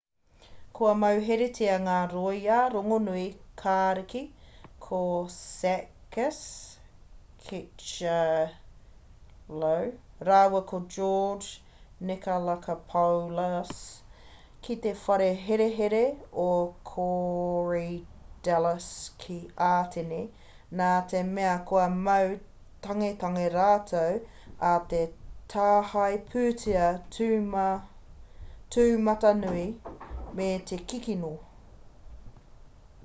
kua mauheretia ngā rōia rongonui kariki a sakis kechagioglou rāua ko george nikolakopoulos ki te whare herehere o korydallus ki ātene nā te mea kua mau tangetange rātou o te tāhae pūtea tūmatanui me te kikino